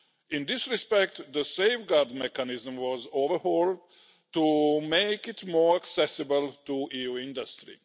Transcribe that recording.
In this respect, the safeguard mechanism was overhauled to make it more accessible to EU industry.